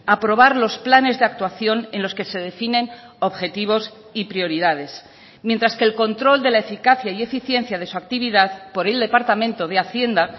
aprobar los planes de actuación en los que se definen objetivos y prioridades mientras que el control de la eficacia y eficiencia de su actividad por el departamento de hacienda